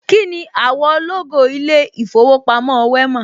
Kíni àwọ̀ lógò ilé ìfowópamọ́ Wema?